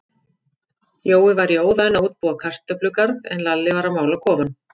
Jói var í óða önn að útbúa kartöflugarð, en Lalli var að mála kofann.